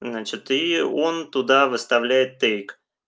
значит и он туда выставляет тейк